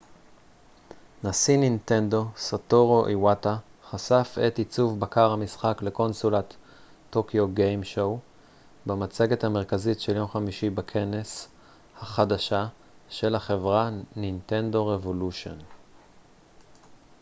במצגת המרכזית של יום חמישי בכנס tokyo game show נשיא נינטנדו סאטורו איווטה חשף את עיצוב בקר המשחק לקונסולת nintendo revolution החדשה של החברה